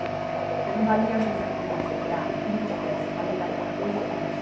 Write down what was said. Porque não valia mais a pena elas pegar vinte peças para levar e ficar dois dias.